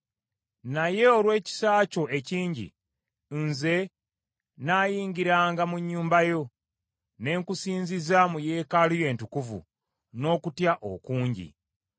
Naye olw’ekisa kyo ekingi, nze nnaayingiranga mu nnyumba yo: ne nkusinziza mu Yeekaalu yo Entukuvu n’okutya okungi.